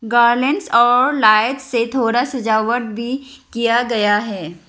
Garments और light से थोड़ा सजावट भी किया गया है।